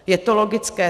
Je to logické.